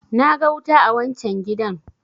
na ga wuta a wancan gidan!